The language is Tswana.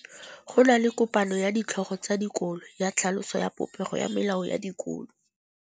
Go na le kopanô ya ditlhogo tsa dikolo ya tlhaloso ya popêgô ya melao ya dikolo.